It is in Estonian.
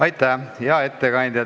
Aitäh, hea ettekandja!